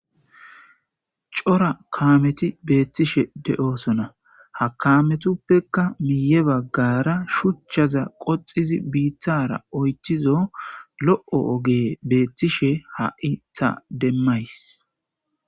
Cora Kameti betishe de'eosona ha kametapekka miye bagara shuchaza qoxidi bitara oyithizo lo'o ogeye betishe ha'i ta demaysi